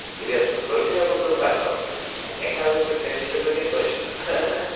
интересно сколько я буду в это воскресенье мне кажется семьдесят один точно ха-ха